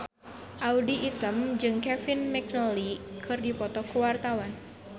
Audy Item jeung Kevin McNally keur dipoto ku wartawan